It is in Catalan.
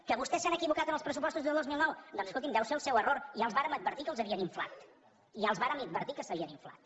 que vostès s’han equivocat en els pressupostos del dos mil nou doncs escolti’m deu ser el seu error ja els vàrem advertir que els havien inflat ja els vàrem advertir que s’havien inflat